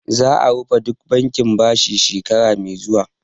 Za'a rufe duk bankin bashi shekara mai zuwa